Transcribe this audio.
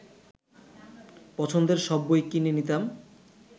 পছন্দের সব বই কিনে নিতাম